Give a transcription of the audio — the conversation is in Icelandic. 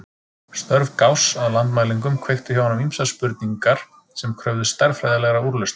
Störf Gauss að landmælingum kveiktu hjá honum ýmsar spurningar sem kröfðust stærðfræðilegra úrlausna.